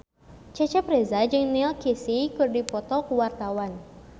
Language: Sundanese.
Cecep Reza jeung Neil Casey keur dipoto ku wartawan